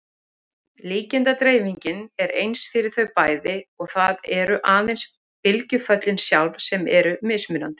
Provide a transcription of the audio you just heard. Líkindadreifingin er eins fyrir þau bæði og það eru aðeins bylgjuföllin sjálf sem eru mismunandi.